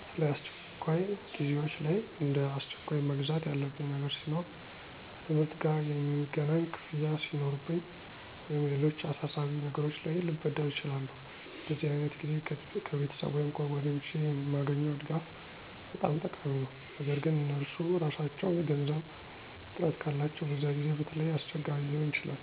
በተለይ አስቸኳይ ጊዜዎች ላይ፣ እንደ አስቸኳይ መግዛት ያለብኝ ነገር ሲኖር፣ ከትምህርት ጋ የሚገናኝ ክፍያ ሱኖርብኝ ወይም ሌሎች አሳሳቢ ነገሮች ላይ ልበደር እችላለሁ። በዚህ ዓይነት ጊዜ ከቤተሰብ ወይም ከጓደኞቼ የማገኘው ድጋፍ በጣም ጠቃሚ ነው። ነገር ግን እነርሱ ራሳቸው የገንዘብ እጥረት ካላቸው በዚያ ጊዜ በተለይ አስቸጋሪ ሊሆን ይችላል።